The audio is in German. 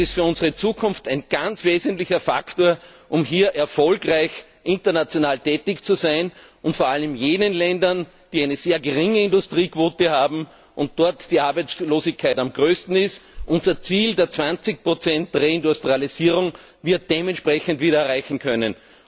Das ist für unsere Zukunft ein ganz wesentlicher Faktor, um hier erfolgreich international tätig zu sein, und vor allem in jenen Ländern, die eine sehr geringe Industriequote haben und in denen die Arbeitslosigkeit am größten ist, damit wir unser Ziel der 20 Reindustrialisierung dementsprechend wieder erreichen können.